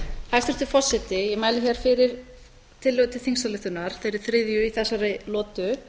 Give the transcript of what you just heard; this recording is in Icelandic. hæstvirtur forseti ég mæli hér fyrir tillögu til á þeirri þriðju í þessari lotu